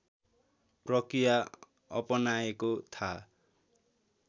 प्रक्रिया अपनाएको थाहा